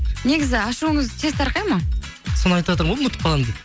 негізі ашуыңыз тез тарқайды ма соны айтыватырмын ғой ұмытып қаламын деп